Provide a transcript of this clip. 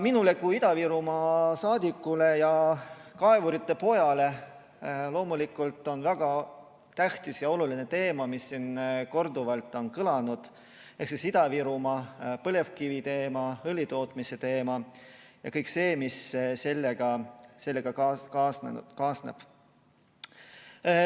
Minule kui Ida-Virumaa saadikule ja kaevuri pojale loomulikult on väga tähtis teema, mis siin korduvalt on kõlanud, ehk siis Ida-Virumaa põlevkiviteema, õlitootmise teema ja kõik see, mis sellega kaasneb.